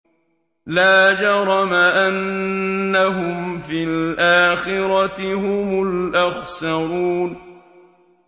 لَا جَرَمَ أَنَّهُمْ فِي الْآخِرَةِ هُمُ الْأَخْسَرُونَ